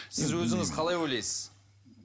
сіз өзіңіз қалай ойлайсыз